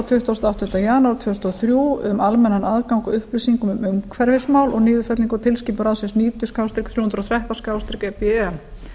tuttugasta og áttundi janúar tvö þúsund og þrjú um almennan aðgang að upplýsingum um umhverfismál og niðurfellingu á tilskipun ráðsins níutíu þrjú hundruð og þrettán e b e